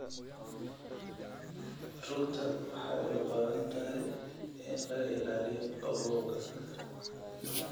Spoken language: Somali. Rugta waxay u baahan tahay in laga ilaaliyo qabowga.